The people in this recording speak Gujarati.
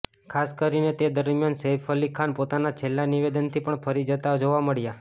ખાસ કરીને તે દરમિયાન સૈફ અલી ખાન પોતાના છેલ્લા નિવેદનથી પણ ફરી જતા જોવા મળ્યા